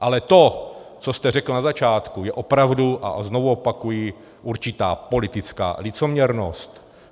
Ale to, co jste řekl na začátku, je opravdu, a znovu opakuji, určitá politická licoměrnost.